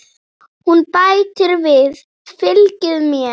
Hún bætir við: Fylgið mér